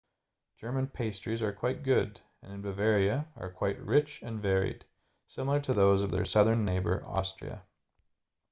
german pastries are quite good and in bavaria are quite rich and varied similar to those of their southern neighbor austria